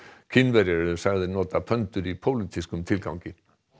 Kínverjar eru sagðir nota í pólitískum tilgangi